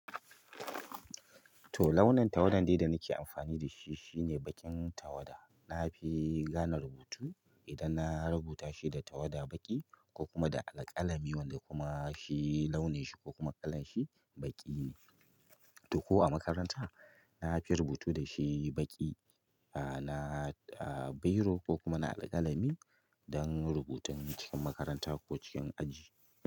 To launin tawadan da dai nake anfani dashi, shine baƙin tawada na fi gane rubutu idan na rubuta shi da tawada baƙi, ko kuma da alƙalami wanda kuma shi launin shi ko kuma kala shi baƙi ne. To ko a makaranta na fi rubutu da shi baƙi, ah na bairo ko kuma na alƙalami don rubutun cikin makaranta ko cikin aji.